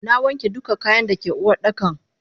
Nawanke duka kayan dake Uwardakan.